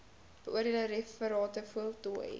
beoordeelde referate voltooi